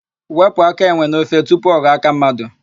Wepụ áká enwe n'ofe tupu ọ ghọọ áká mmadụ.